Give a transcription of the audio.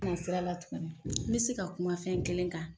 kun be sira la tuguni n be se ka kuma fɛn kelen kan